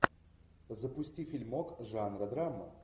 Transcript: запусти фильмок жанра драма